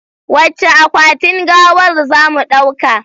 Wacce akwatin gawar zamu ɗauka?